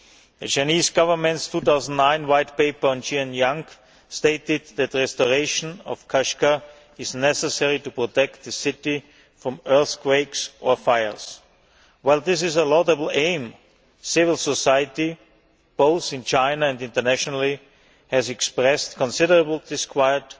The Chinese Government's 2009 White Paper on Xinjiang stated that restoration of Kashgar is necessary to protect the city from earthquakes or fire. This is a laudable aim. Civil society, both in China and internationally, has expressed considerable disquiet